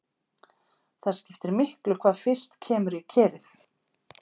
Það skiptir miklu hvað fyrst kemur í kerið.